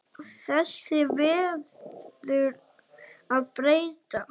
Þessu verður að breyta!